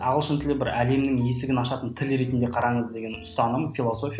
ағылшын тілі бір әлемнің есігін ашатын тіл ретінде қараңыз деген ұстаным философия